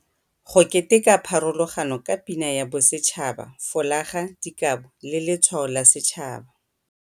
Go keteka pharologano ka Pina ya Bosetšhaba, folaga, dikabo, le letshwao la setšhaba.